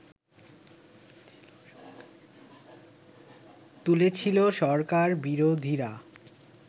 তুলেছিল সরকার বিরোধীরা